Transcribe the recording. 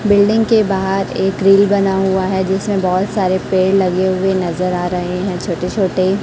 building के बाहर एक ग्रील बना हुआ है जिसमें बहोत सारे पेड़ लगे हुए नजर आ रहे हैं छोटे छोटे--